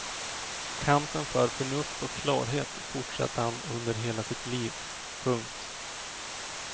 Kampen för förnuft och klarhet fortsatte han under hela sitt liv. punkt